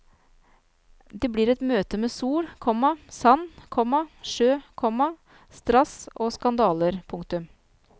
Det blir et møte med sol, komma sand, komma sjø, komma strass og skandaler. punktum